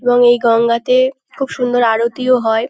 এবং এই গঙ্গাতে খুব সুন্দর আরতিও হয়।